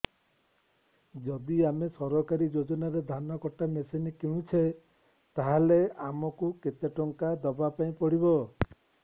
ଯଦି ଆମେ ସରକାରୀ ଯୋଜନାରେ ଧାନ କଟା ମେସିନ୍ କିଣୁଛେ ତାହାଲେ ଆମକୁ କେତେ ଟଙ୍କା ଦବାପାଇଁ ପଡିବ